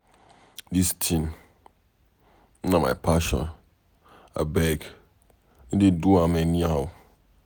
Dis thing na my passion. Abeg, no dey do am anyhow.